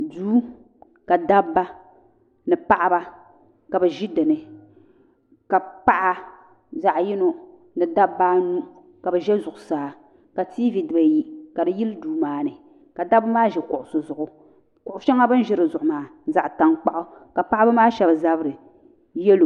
duu ka dabba ni paɣiba ka bɛ ʒi din ni ka paɣa zaɣ' yino ni dabba anu ka bɛ ʒe zuɣusaa ka tiivi diba-ayi ka di yili duu maa ni ka dabba maa ʒi kuɣusi zuɣu kuɣ' shɛŋa bɛ ni ʒi di zuɣu maa zaɣ' taŋkpaɣu ka paɣiba maa shɛba zabiri yɛlo